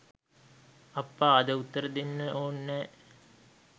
අප්පා අද උත්තර දෙන්ට ඔන්නැ